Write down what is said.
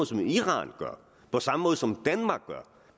som iran gør på samme måde som danmark gør